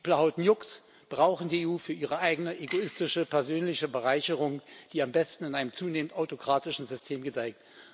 Die Plahotniucs brauchen die EU für ihre eigene egoistische persönliche Bereicherung, die am besten in einem zunehmend autokratischen System gedeiht.